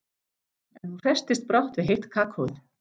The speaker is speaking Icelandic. En hún hresstist brátt við heitt kakóið.